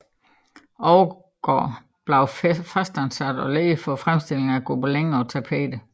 Overgaard blev fastansat og leder for fremstillingen af gobelinerne og tapeterne